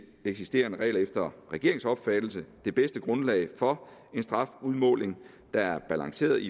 eksisterende regler efter regeringens opfattelse det bedste grundlag for en strafudmåling der er balanceret